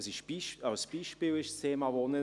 Das Thema Wohnen ist als Beispiel erwähnt.